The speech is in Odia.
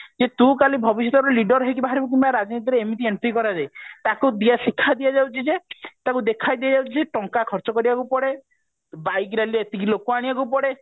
ଯେ ତୁ କାଲି ଭବିଷ୍ୟତରେ leader ହେଇକି ବାହାରିବୁ କିମ୍ବା ରାଜନୀତିରେ ଏମିତି entry କରଯାଏ ତାଙ୍କୁ ଶିକ୍ଷା ଦିଆଯାଉଛି ଯେ ତାକୁ ଦେଖାଇ ଦିଆଯାଉଛି ଯେ ଟଙ୍କା ଖର୍ଚ୍ଚ କରିବାକୁ ପଡେ bike rally ଏତିକି ଲୋକ ଆଣିବାକୁ ପଡେ